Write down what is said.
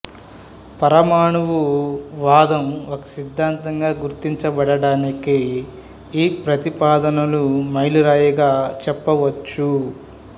పరమాణు వాదం ఒక సిద్ధాంతంగా గుర్తించబడటానికి ఈ ప్రతిపాదనలు మైలురాయిగా చెప్పవచ్చు